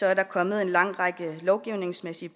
er der kommet en lang række lovgivningsmæssige